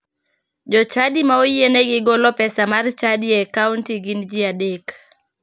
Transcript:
Jochadi ma oyienegi golo pesa mar chadi e akaunt gin ji adek.